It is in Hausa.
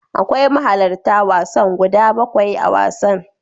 Akwai mahalarta wasan guda bakwai a wasan.